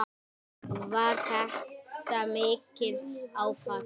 Var þetta mikið áfall?